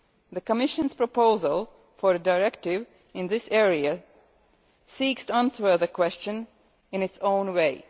The Commission's proposal for a directive in this area seeks to answer the question in its own way.